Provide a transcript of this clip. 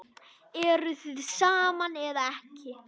Eruð þið saman eða ekki?